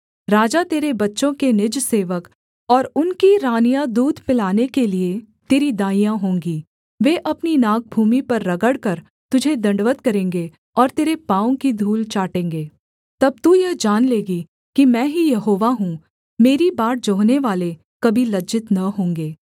राजा तेरे बच्चों के निजसेवक और उनकी रानियाँ दूध पिलाने के लिये तेरी दाइयाँ होंगी वे अपनी नाक भूमि पर रगड़कर तुझे दण्डवत् करेंगे और तेरे पाँवों की धूल चाटेंगे तब तू यह जान लेगी कि मैं ही यहोवा हूँ मेरी बाट जोहनेवाले कभी लज्जित न होंगे